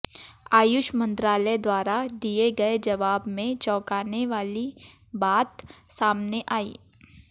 आयुष मंत्रालय द्वारा दिए गए जवाब में चौंकानी वाली बात सामने आई